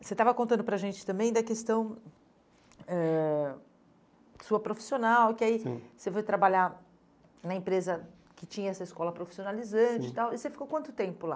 Você estava contando para a gente também da questão eh sua profissional, e que aí, sim, você foi trabalhar na empresa que tinha essa escola profissionalizante, sim, e tal, e você ficou quanto tempo lá?